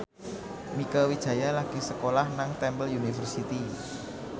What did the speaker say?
Mieke Wijaya lagi sekolah nang Temple University